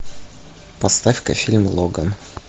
поставь ка фильм логан